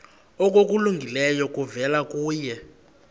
okulungileyo kuvela kuye